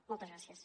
moltes gràcies